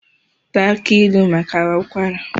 Taa aki ilu maka ụkwara